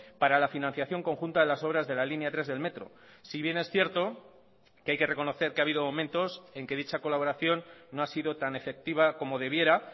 para la financiación conjunta de las obras de la línea tres del metro si bien es cierto que hay que reconocer que ha habido momentos en que dicha colaboración no ha sido tan efectiva como debiera